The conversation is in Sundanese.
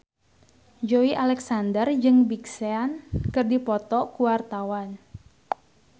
Joey Alexander jeung Big Sean keur dipoto ku wartawan